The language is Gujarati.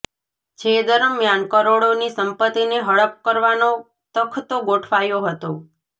જે દરમિયાન કરોડોની સંપત્તિને હડપ કરવાનો તખતો ગોઠવાયો હતો